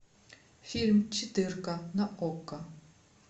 фильм четырка на окко